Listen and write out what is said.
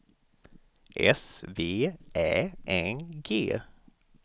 S V Ä N G